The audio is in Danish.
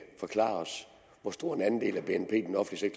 forklare os hvor stor en andel af bnp den offentlige